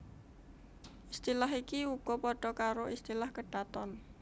Istilah iki uga padha karo istilah kedaton